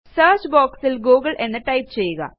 search boxൽ Google എന്ന് type ചെയ്യുക